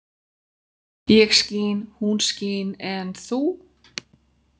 Ég skín, hún skín en þú...?